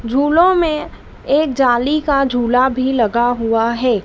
झूलो में एक जाली का झूला भी लगा हुआ है।